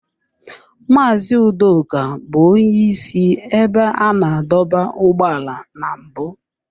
Mazị Udoka bụ onye isi ebe a na-adọba ụgbọala na mbụ.